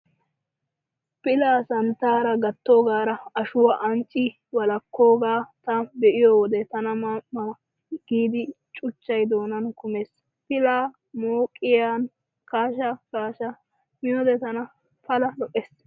Pilaa santtaara gattoogaara ashuwaa ancci wolakkoogaa ta be'iyo wode tana tana ma ma giidi cuchchay doonan kumees. Pilaa mooqiyan kaasha kaasha miyoode tana pala lo'ees.